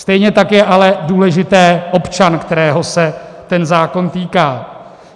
Stejně tak je ale důležitý občan, kterého se ten zákon týká.